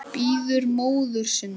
Bíður móður sinnar.